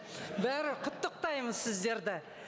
құттықтаймын сіздерді